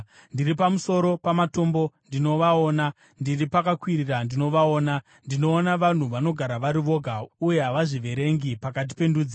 Ndiri pamusoro pamatombo, ndinovaona, ndiri pakakwirira, ndinovaona. Ndinoona vanhu vanogara vari voga uye havazviverengi pakati pendudzi.